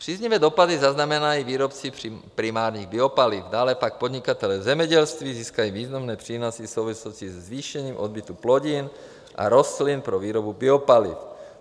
Příznivé dopady zaznamenají výrobci primárních biopaliv, dále pak podnikatelé v zemědělství získají významné přínosy v souvislosti se zvýšením odbytu plodin a rostlin pro výrobu biopaliv.